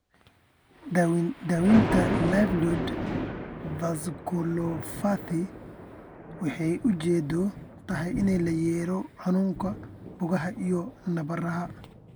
Daaweynta livedoid vasculopathy waxay ujeedadeedu tahay in la yareeyo xanuunka, boogaha iyo nabarrada.